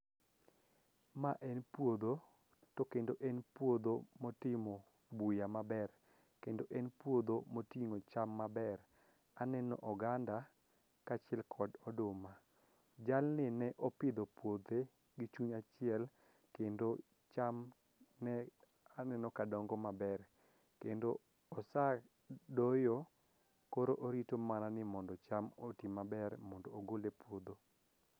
Ma en puodho to kendo en puodho motimo buya maber kendo en puodho moting'o cham maber. Aneno oganda kaachiel kod oduma, jalni ne opidho puothe gi chuny achiel kendo chamne aneno ka dongo maber kendo osadoyo koro orito mana ni mondo cham oti maber mondo ogol e puodho.